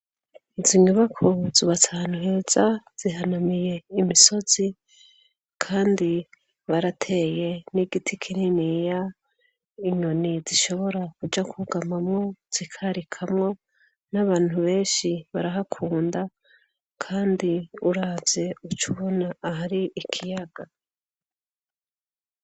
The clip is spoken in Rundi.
Izo inyubako zubatanuheza zihanamiye imisozi, kandi barateye n'igiti kinini ya inyoni zishobora kuja kugamamwo zikarikamwo n'abantu benshi barahakunda, kandi uraze ucoubona ah ari ikiyagame.